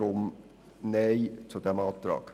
Deshalb Nein zu diesem Antrag.